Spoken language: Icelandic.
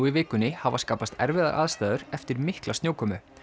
í vikunni hafa skapast erfiðar aðstæður eftir mikla snjókomu